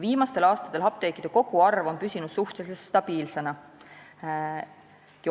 Viimastel aastatel on apteekide koguarv püsinud suhteliselt stabiilsena.